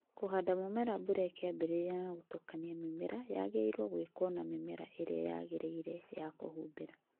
Kũhanda mũmera mbura ĩkĩambĩrĩria na gũtukania mĩmera wagĩrĩirwo gwĩkwo na mĩmera ĩrĩa yagĩrĩire ya kũhumbĩra